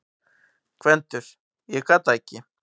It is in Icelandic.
GVENDUR: Ég gat það ekki!